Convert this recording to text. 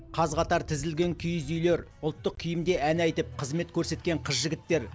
қаз қатар тізілген киіз үйлер ұлттық киімде ән айтып қызмет көрсеткен қыз жігіттер